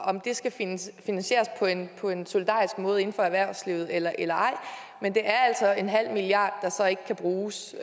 om det skal finansieres på en solidarisk måde inden for erhvervslivet eller eller ej men det er altså en halv milliard kr der så ikke kan bruges